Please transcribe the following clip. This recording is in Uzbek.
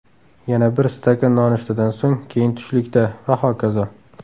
Yana bir stakan nonushtadan so‘ng, keyin tushlikda va hokazo.